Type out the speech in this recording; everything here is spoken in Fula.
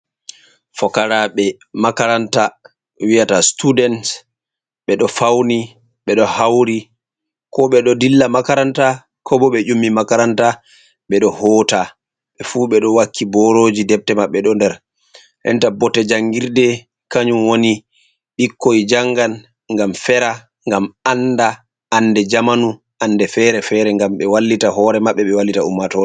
Fokaraɓe makaranta wi'ata students ɓe ɗo fauni ɓeɗo hauri ko ɓe ɗo dilla makaranta ko bo ɓe ƴummi makaranta ɓeɗo hoota ɓe fu ɓe ɗo wakki boroji debte maɓɓe do nder renta bote jangirde kanyum woni ɓikkoi jangan gam Fera, gam anda, ande jamanu ande fere-fere gam ɓe wallita hore maɓɓe ɓe wallita ummato